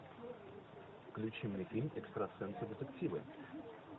включи мне фильм экстрасенсы детективы